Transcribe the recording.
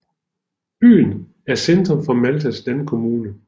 Byen er centrum for Maltas landkommune